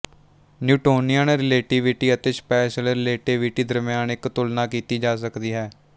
Newtonian relativity ਅਤੇ special relativity ਦਰਮਿਆਨ ਇੱਕ ਤੁਲਨਾ ਕੀਤੀ ਜਾ ਸਕਦੀ ਹੈ